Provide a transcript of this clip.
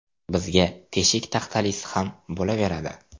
Bizga teshik taxtalisi ham bo‘laveradi.